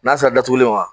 N'a sera datuguli ma